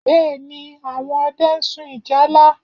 Bẹ́ẹ̀ ni, àwọn ọdẹ ń sun ìjálá